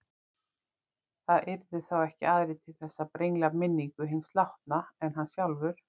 Það yrðu þá ekki aðrir til þess að brengla minningu hins látna en hann sjálfur.